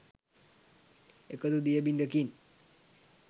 එකදු දිය බිඳකින්